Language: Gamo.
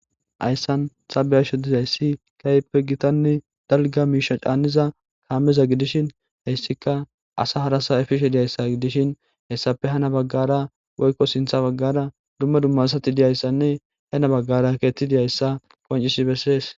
ayssan xabeyasho dizay si kayppe gitanne dalga miisha caaniza kaameza gidishin hessika asa harasa efishe diyayssa gidishin hessafe hana baggara woykko sintha baggara dumma dummasati diyayssanne hena baggara keeti diyayssa qoncisi bessees